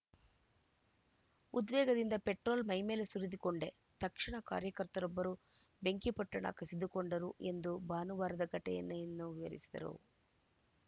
ಉದ್ವೇಗದಿಂದ petrol ಮೈಮೇಲೆ ಸುರಿದುಕೊಂಡೆ ತಕ್ಷಣ ಕಾರ್ಯಕರ್ತರೊಬ್ಬರು ಬೆಂಕಿಪೊಟ್ಟಣ ಕಸಿದುಕೊಂಡರು ಎಂದು ಭಾನುವಾರದ ಘಟೆಯನ್ನು ವಿವರಿಸಿದರು